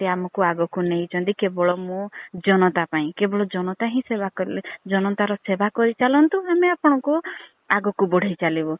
ଆମକୁ ଆଗକୁ ନେଇ ଛନ୍ତି କେବଳ ମୋ ଜନତା ପାଇଁ କେବଳ ଜନତା ହିଁ ସେବା କରିଲେ ଜନତା ର ସେବା କରିଚାଲନ୍ତୁ ଆମେ ଆପଣ ଙ୍କୁ ଆଗକୁ ବଢେଇ ଚାଲିବୁ।